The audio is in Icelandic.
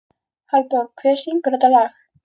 Hallborg, hver syngur þetta lag?